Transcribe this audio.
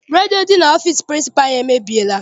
Redio dị n'ọfịịsi pịrịnsịpalụ anyị emebiela.